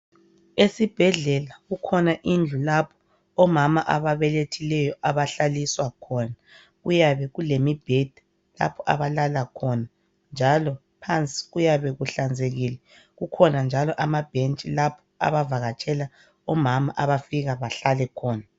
Esibhedlela kukhona indlu lapho omama ababelethileyo abahlaliswa khona kuyabe kulemibheda lapha abalala khonanjalo phansi kuyabe kuhlanzekile kukhona njalo amabhentshi lapha abavakatshela omama lapha abafika behlale khona.